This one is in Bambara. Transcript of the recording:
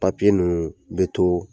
Papiye ninnu bɛ to